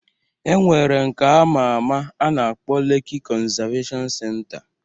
E nwere nke ama ama a na-akpọ Leki konzaveshon senta